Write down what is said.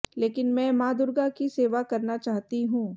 लेकिन मैं मां दुर्गा की सेवा करना चाहती हूं